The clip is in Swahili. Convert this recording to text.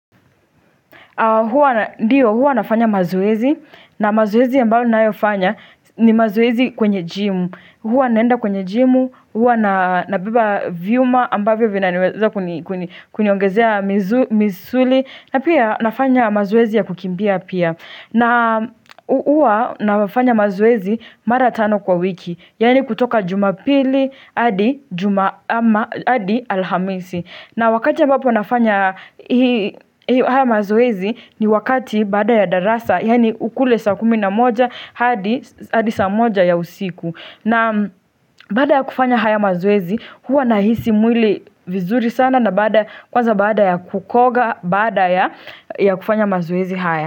Huwa nafanya mazoezi, na mazoezi ambayo ninayafanya ni mazoezi kwenye gym. Huwa naenda kwenye jimu, huwa na vyuma ambavyo vinaniweza kuniongezea misuli, na pia nafanya mazoezi ya kukimbia pia. Na huwa nafanya mazoezi mara tano kwa wiki, yaani kutoka jumapili hadi alhamisi. Na wakati ya ambapo nafanya hii, haya mazoezi ni wakati baada ya darasa yani ukule saa kumi na moja hadi saa moja ya usiku. Naam, baada ya kufanya haya mazoezi huwa nahisi mwili vizuri sana kwanza baada ya kukoga bada ya kufanya mazwezi haya.